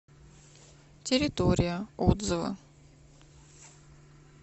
территория отзывы